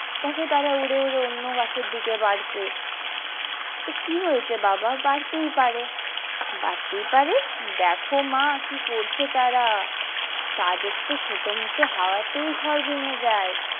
দেখো তারা উড়ে উড়ে অন্য বাসার দিকে বাড়ছে তো কি হয়েছে বাবা বাড়তেই পারে বাড়তেই পারে দেখো মা কি করছে তারা তাদের তো ছোট মটো হওয়াতে ঘর ভেঙে যায়।